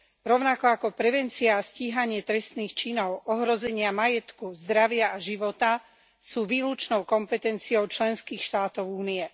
rovnako ako prevencia a stíhanie trestných činov ohrozenia majetku, zdravia a života sú výlučnou kompetenciou členských štátov Únie.